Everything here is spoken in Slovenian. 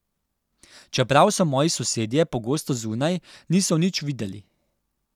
Čeprav so moji sosedje pogosto zunaj, niso nič videli.